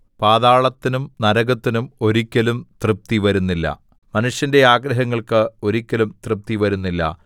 പാതാളത്തിനും നരകത്തിനും ഒരിക്കലും തൃപ്തി വരുന്നില്ല മനുഷ്യന്റെ ആഗ്രഹങ്ങള്‍ക്ക് ഒരിക്കലും തൃപ്തി വരുന്നില്ല